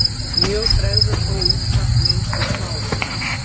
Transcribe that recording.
Mjög bregður þó út af í einstökum árum.